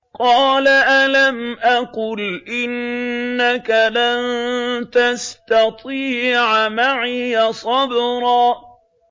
قَالَ أَلَمْ أَقُلْ إِنَّكَ لَن تَسْتَطِيعَ مَعِيَ صَبْرًا